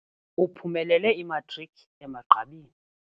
Uphumelele imatriki emagqabini.